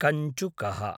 कञ्चुकः